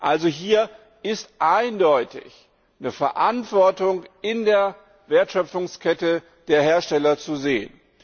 EUR. Hier ist also eindeutig eine Verantwortung in der Wertschöpfungskette der Hersteller zu sehen.